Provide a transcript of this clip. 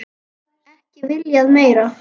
Ekki viljað meira.